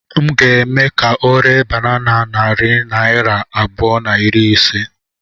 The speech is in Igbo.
M ga-eme ka ọ ree banana na narị naira abụọ na iri ise